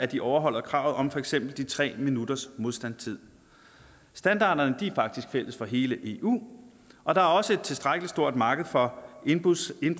de overholder kravet om for eksempel de tre minutters modstandstid standarderne er faktisk fælles for hele eu og der er også et tilstrækkelig stort marked for indbrudssikring